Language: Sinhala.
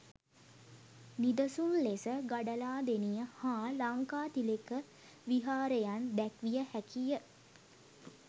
නිදසුන් ලෙස ගඩලාදෙණිය හා ලංකාතිලක විහාරයන් දැක්විය හැකි ය.